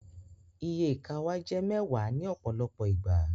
Iye ìka wàá jẹ mẹwàá ní ọpọlọpọ ìgbà